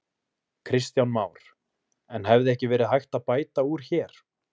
Kristján Már: En hefði ekki verið hægt að bæta úr hér?